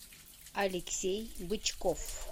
алексей бычков